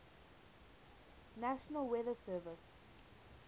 national weather service